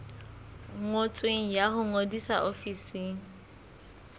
ngotsweng ya ho ngodisa ofising